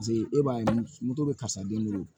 Paseke e b'a ye moto bɛ karisa den bolo